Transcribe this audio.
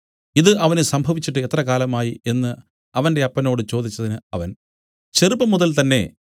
ഇതു അവന് സംഭവിച്ചിട്ട് എത്ര കാലമായി എന്നു അവന്റെ അപ്പനോട് ചോദിച്ചതിന് അവൻ ചെറുപ്പംമുതൽ തന്നേ